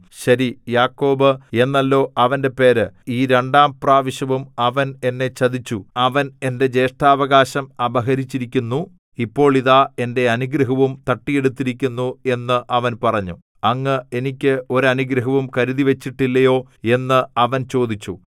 ശരി യാക്കോബ് എന്നല്ലോ അവന്റെ പേര് ഈ രണ്ടാം പ്രാവശ്യവും അവൻ എന്നെ ചതിച്ചു അവൻ എന്റെ ജ്യേഷ്ഠാവകാശം അപഹരിച്ചിരിക്കുന്നു ഇപ്പോൾ ഇതാ എന്റെ അനുഗ്രഹവും തട്ടിയെടുത്തിരിക്കുന്നു എന്ന് അവൻ പറഞ്ഞു അങ്ങ് എനിക്ക് ഒരു അനുഗ്രഹവും കരുതിവച്ചിട്ടില്ലയോ എന്ന് അവൻ ചോദിച്ചു